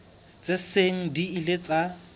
tse seng di ile tsa